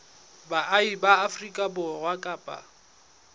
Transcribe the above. baahi ba afrika borwa kapa